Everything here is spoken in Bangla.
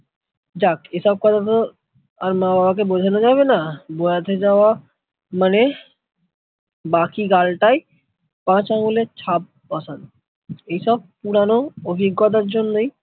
আর মা-বাবাকে বোঝানো যাবেনা, যাওয়া মানে বাকি গালটায় পাঁচ আঙ্গুলের ছাপ বসানো ঐ সন পুরানো অভিজ্ঞতার জন্যই